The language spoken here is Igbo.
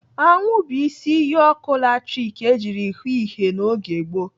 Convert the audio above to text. Anwụ bụ isi iyi ọkụ latrik ejiri hụụ ihe n'oge gboo.